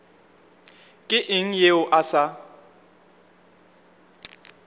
ke eng yeo a sa